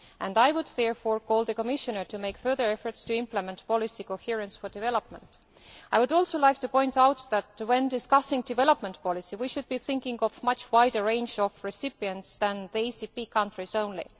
I would therefore call on the Commissioner to make further efforts to implement Policy Coherence for Development. I would also like to point out that when discussing development policy we should be thinking of a much wider range of recipients than the ACP countries only.